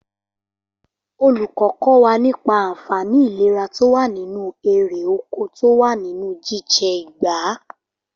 Olùkọ́ kọ́ wa nípa ànfàní ìléra to wa nínú erè oko to wá nínú jíjẹ ìgbá